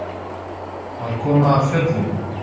Að koma af fjöllum